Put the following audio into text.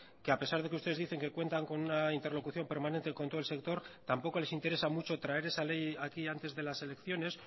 que a pesar de que ustedes dicen que cuentan con una interlocución permanente con todo el sector tampoco les interesa mucho traer esa ley aquí antes de las elecciones